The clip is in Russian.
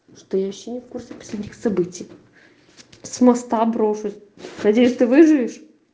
что я ещё не в курсе последних событий с моста брошусь надеюсь ты выживешь